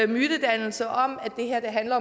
mytedannelser om at det her handler